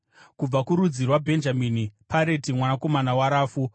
kubva kurudzi rwaBhenjamini, Pareti mwanakomana waRafu;